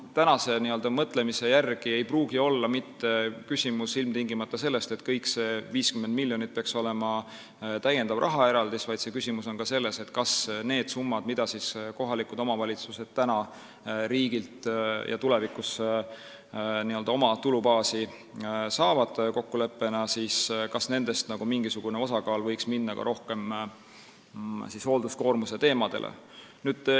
Praeguse mõtlemise järgi ei pruugi see olla küsimus mitte ilmtingimata sellest, et kogu see 50 miljonit peaks olema täiendav rahaeraldis, vaid küsimus on ka selles, kas nendest summadest, mida kohalikud omavalitsused täna ja tulevikus kokkuleppe alusel riigilt oma tulubaasi saavad, mingisugune osa võiks minna rohkem hoolduskoormuse valdkonda.